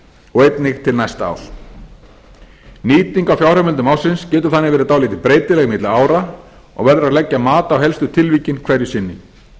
og einnig til næsta árs nýting á fjárheimildum ársins getur þannig verið dálítið breytileg milli ára og verður að leggja mat á helstu tilvikin hverju sinni